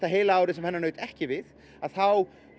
heila árið sem hennar naut ekki við þá